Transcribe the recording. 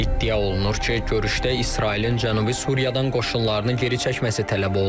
İddia olunur ki, görüşdə İsrailin Cənubi Suriyadan qoşunlarını geri çəkməsi tələb olunub.